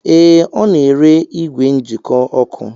Ee, Ọ na-ere igwe njikọ ọkụ